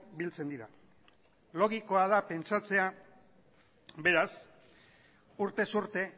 biltzen dira logikoa da pentsatzea beraz urtez urte